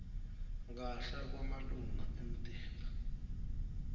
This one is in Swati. kahle kwemalunga emtimba